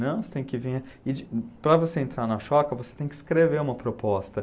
Não, você tem que vir e de... Para você entrar na Choca, você tem que escrever uma proposta.